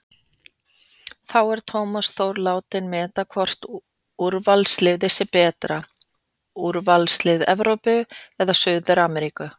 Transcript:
Þá er Tómas Þór látinn meta hvort úrvalsliðið sé betra, úrvalslið Evrópu eða Suður-Ameríku?